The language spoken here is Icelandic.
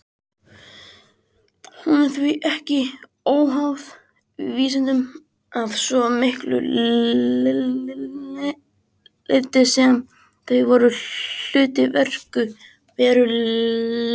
Hún er því ekki óháð vísindunum að svo miklu leyti sem þau eru hluti veruleikans.